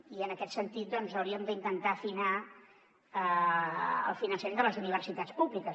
i en aquest sentit doncs hauríem d’intentar afinar el finançament de les universitats públiques